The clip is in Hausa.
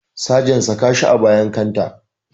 Sagen saka shi a bayan kanta